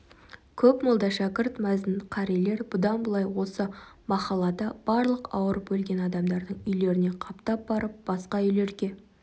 көп молда шәкірт мәзін қарилер бұдан былай осы махаллада барлық ауырып өлген адамдардың үйлеріне қаптап барып басқа үйлерге